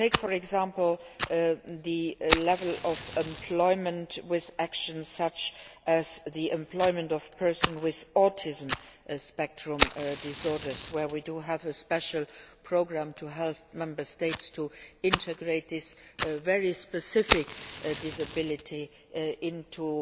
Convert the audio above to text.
For example, take the level of employment where there are actions such as the employment of persons with autism spectrum disorders. We have a special programme to help Member States integrate this very specific disability into